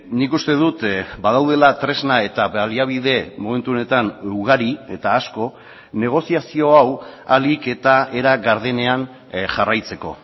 nik uste dut badaudela tresna eta baliabide momentu honetan ugari eta asko negoziazio hau ahalik eta era gardenean jarraitzeko